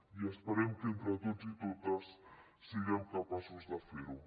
i esperem que entre tots i totes siguem capaços de fer ho